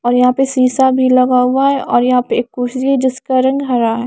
और यहाँ पे शीशा भी लगा हुआ है और यहाँ पे एक कुर्सी है जिसका रंग हरा है।